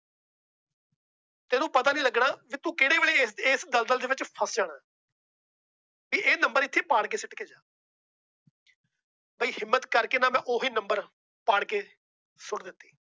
ਤੈਨੂੰ ਪਤਾ ਵੀ ਨਹੀਂ ਲੱਗਣਾ ਕਿ ਤੂੰ ਕਿਹੜੇ ਵੇਲੇ ਇਸ ਦਲਦਲ ਚ ਫਸ ਜਾਣਾ। ਵੀ ਇਹ number ਇੱਥੇ ਪਾੜ ਕੇ ਸੁੱਟ ਕੇ ਜਾ। ਬਾਈ ਹਿੰਮਤ ਕਰਕੇ ਮੈ ਓਹੀ number ਪਾੜ ਕੇ ਸੁੱਟ ਦਿੱਤੇ ।